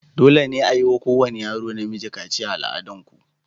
Dole ne a yi wa kowane yaro namiji kaciya a al'adar ku?